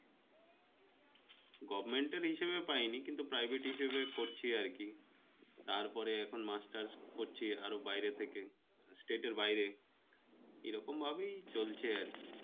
govment এর হিসেবে পায়নি কিন্তু privert হিসেবে পড়ছি আর কি, তারপরে এখন Masters পড়ছি বাইরে থেকে state এর বাইরে এরকম ভাবেই চলছে আরকি,